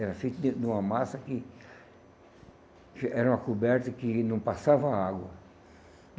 Era feito do de uma massa que era uma coberta que não passava água.